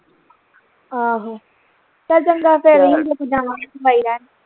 ਆਹੋ ਚੱਲ ਚੰਗਾ ਫਿਰ ਜਾਵਾ ਦਵਾਈ ਲੈਣ